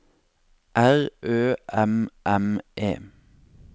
R Ø M M E